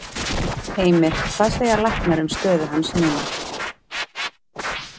Heimir: Hvað segja læknar um stöðu hans núna?